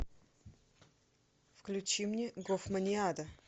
включи мне гофманиада